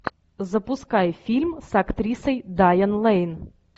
запускай фильм с актрисой дайан лейн